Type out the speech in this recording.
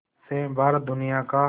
से भारत दुनिया का